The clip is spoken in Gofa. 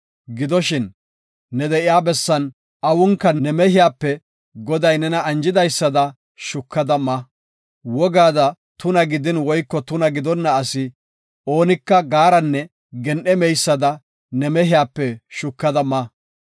Gidoshin ne de7iya bessan awunka ne mehiyape Goday nena anjidaysada shukada ma. Wogaada tuna gidin woyko tuna gidonna asi oonika gaaranne gen7e meysada ne mehiyape shukada ma.